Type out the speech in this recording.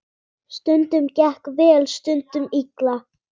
Stundum gekk vel, stundum illa.